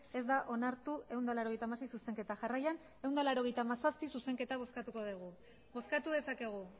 ez da onartu ehun eta laurogeita hamasei zuzenketa jarraian ehun eta laurogeita hamazazpi zuzenketa bozkatuko dugu bozkatu dezakegu